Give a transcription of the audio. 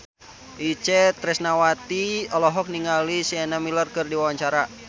Itje Tresnawati olohok ningali Sienna Miller keur diwawancara